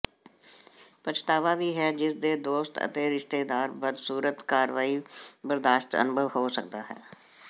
ਪਛਤਾਵਾ ਵੀ ਹੈ ਜਿਸ ਦੇ ਦੋਸਤ ਅਤੇ ਰਿਸ਼ਤੇਦਾਰ ਬਦਸੂਰਤ ਕਾਰਵਾਈ ਬਰਦਾਸ਼ਤ ਅਨੁਭਵ ਹੋ ਸਕਦਾ ਹੈ